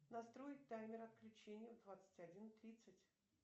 настроить таймер отключения в двадцать один тридцать